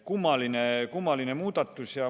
Kummaline muutus.